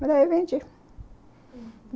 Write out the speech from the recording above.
Mas aí eu vendi.